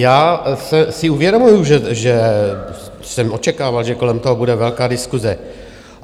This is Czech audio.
Já si uvědomuji, že jsem očekával, že kolem toho bude velká diskuse.